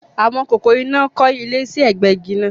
Àwọn kòkòrò iná kọ́ ilé sí ẹ̀gbẹ igi náà